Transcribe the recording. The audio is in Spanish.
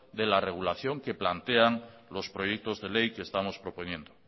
de la regulación que plantean los proyectos de ley que estamos proponiendo